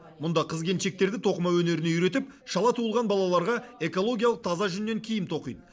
мұнда қыз келіншектерді тоқыма өнеріне үйретіп шала туылған балаларға экологиялық таза жүннен киім тоқиды